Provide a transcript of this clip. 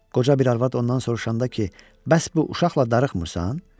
Qoca bir arvad ondan soruşanda ki, bəs bu uşaqla darıxmırsan?